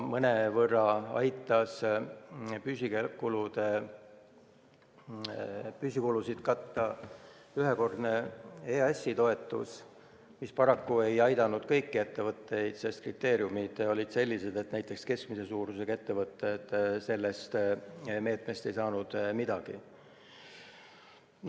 Mõnevõrra aitas püsikulusid katta ühekordne EAS-i toetus, mis paraku ei aidanud kõiki ettevõtteid, sest kriteeriumid olid sellised, et näiteks keskmise suurusega ettevõtted ei saanud sellest meetmest midagi.